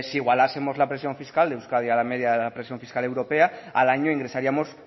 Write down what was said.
si igualásemos la presión fiscal de euskadi a la media de la presión fiscal europea al año ingresaríamos